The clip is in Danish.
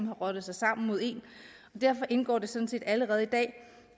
har rottet sig sammen mod en og derfor indgår det sådan set allerede i dag